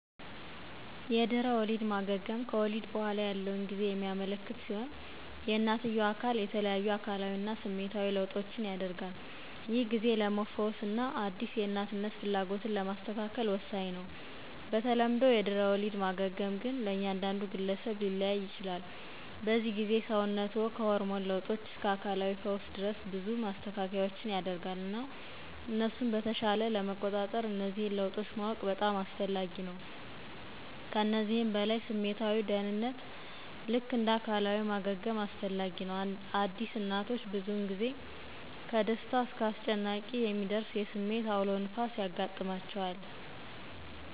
የድኅረ ወሊድ ማገገም ከወሊድ በኋላ ያለውን ጊዜ የሚያመለክት ሲሆን የእናትየው አካል የተለያዩ አካላዊ እና ስሜታዊ ለውጦችን ያደርጋል. ይህ ጊዜ ለመፈወስ እና አዲስ የእናትነት ፍላጎቶችን ለማስተካከል ወሳኝ ነው. በተለምዶ የድህረ ወሊድ ማገገም , ግን ለእያንዳንዱ ግለሰብ ሊለያይ ይችላል. በዚህ ጊዜ፣ ሰውነትዎ ከሆርሞን ለውጦች እስከ አካላዊ ፈውስ ድረስ ብዙ ማስተካከያዎችን ያደርጋል፣ እና እነሱን በተሻለ ለመቆጣጠር እነዚህን ለውጦች ማወቅ በጣም አስፈላጊ ነው። ከዚህም በላይ ስሜታዊ ደህንነት ልክ እንደ አካላዊ ማገገም አስፈላጊ ነው. አዲስ እናቶች ብዙውን ጊዜ ከደስታ እስከ አስጨናቂ የሚደርስ የስሜት አውሎ ንፋስ ያጋጥማቸዋል።